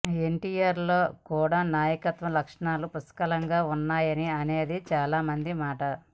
ఎన్టీఆర్ లో కూడా నాయకత్వ లక్షణాలు పుష్కలంగా ఉన్నాయి అనేది చాలా మంది మాట